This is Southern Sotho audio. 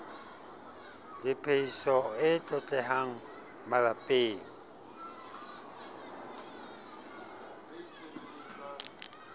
le phehiso e tlotlehang malepeng